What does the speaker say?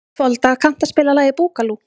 Folda, kanntu að spila lagið „Búkalú“?